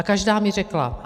A každá mi řekla...